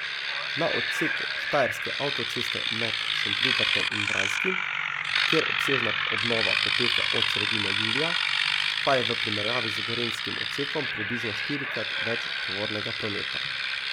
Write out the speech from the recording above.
Na odseku štajerske avtoceste med Šentrupertom in Vranskim, kjer obsežna obnova poteka od sredine julija, pa je v primerjavi z gorenjskim odsekom približno štirikrat več tovornega prometa.